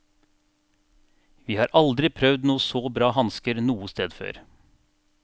Vi har aldri prøvd så bra hansker noe sted før.